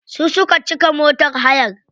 Su suka cika motar hayar.